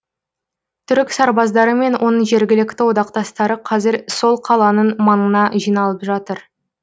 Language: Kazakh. түрік сарбаздары мен оның жергілікті одақтастары қазір сол қаланың маңына жиналып жатыр